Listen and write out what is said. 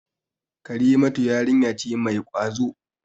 Karimatu yarinya ce mai ƙwazo.